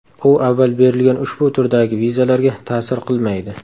U avval berilgan ushbu turdagi vizalarga ta’sir qilmaydi.